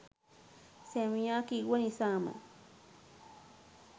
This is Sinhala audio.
සැමියා කිව්ව නිසාම